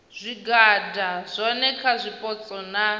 zwigwada zwohe kha zwipotso na